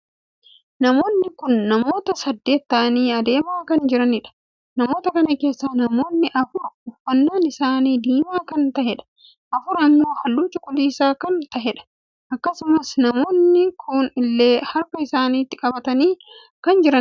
Namoonni kun namoota saddeet taa'anii deemaa kan jiranidha. namoota kana keessaa namoonni afur uffannaan isaanii diimaa kan taheedha. afur ammoo halluu cuquliisa kan taheedha. akkasumas namoonni kun ulee harka isaaniitti qabatanii kan jiranidha.